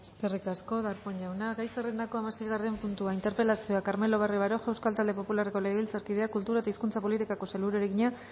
eskerrik asko darpón jauna gai zerrendako hamaseigarren puntua interpelazioa carmelo barrio baroja euskal talde popularreko legebiltzarkideak kultura eta hizkuntza politikako sailburuari egina